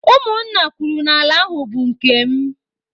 Ụmụ nna kwuru n'ala ahụ bụ nke m.